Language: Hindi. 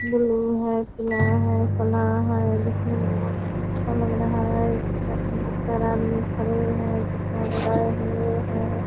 ब्लू है कला है कला है दिखने में बहुत अच्छा लग रहा है यहाँ चार आदमी खड़े हैं चश्मा लगाये हुए हैं।